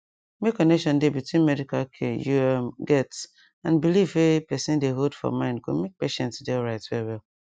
make connection dey between medical care you um get and belief wey person dey hold for mind go make patient dey alright well well